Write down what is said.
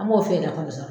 An b'o feere nafaw sɔrɔ